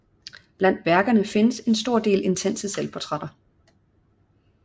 Blandt værkerne findes en stor del intense selvportrætter